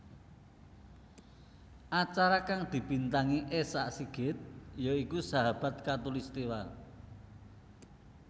Acara kang dibintangi Esa Sigit ya iku Sahabat Khatulistiwa